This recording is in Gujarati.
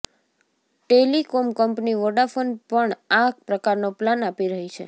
ટેલિકોમ કંનપી વોડાફોન પણ આ પ્રકારનો પ્લાન આપી રહી છે